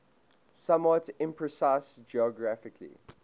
somewhat imprecise geographical